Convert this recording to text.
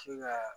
Se ka